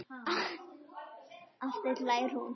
Aftur hlær hún.